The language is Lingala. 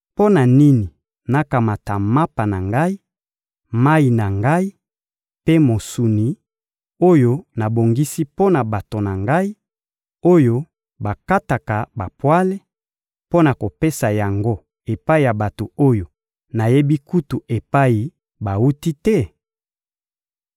Mpo na nini nakamata mapa na ngai, mayi na ngai mpe mosuni, oyo nabongisi mpo na bato na ngai, oyo bakataka bapwale, mpo na kopesa yango epai ya bato oyo nayebi kutu epai bawuti te?»